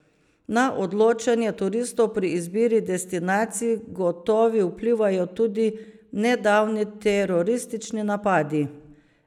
Na odločanje turistov pri izbiri destinacij gotovi vplivajo tudi nedavni teroristični napadi.